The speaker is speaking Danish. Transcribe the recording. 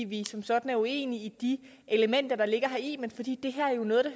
vi som sådan er uenige i de elementer der ligger heri men fordi det